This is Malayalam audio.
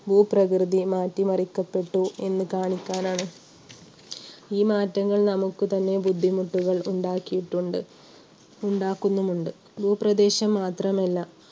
ഭൂപ്രകൃതി മാറ്റിമറിക്കപ്പെട്ടു എന്ന് കാണിക്കാനാണ്. ഈ മാറ്റങ്ങൾ നമുക്ക് തന്നെ ബുദ്ധിമുട്ടുകൾ ഉണ്ടാക്കിയുട്ടുമെൻഡ്, ഉണ്ടാക്കുന്നുമെൻഡ്. ഭൂപ്രദേശം മാത്രമല്ല